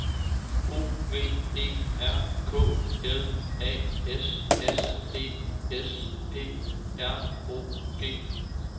O V E R K L A S S E S P R O G